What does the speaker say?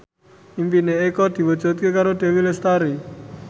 impine Eko diwujudke karo Dewi Lestari